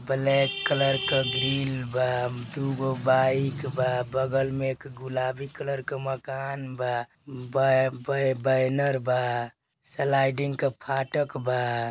Black colour क grill बा। दु गो बाइक बा। बगल में एक गुलाबी कलर क मकान बा। ब बैनर बा। स्लाइडिंग क फाटक बा।